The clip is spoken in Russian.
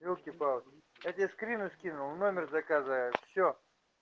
ёлки палки я тебе скрины скинул номер заказывает все